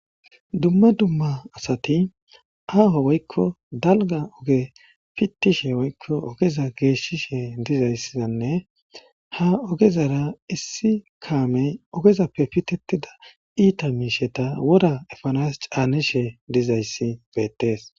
Dumma dumma asati aaho woykko dalga oge pittishe woykko ogeza geeshshishe dizayssanne ha ogezara issi kaamey ogezappe pittetida iita miishsheta wora epanas caanishe dizayssi beetees.